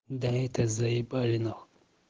да это заебали нахуй